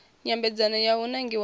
nyambedzano ya u nangiwa ha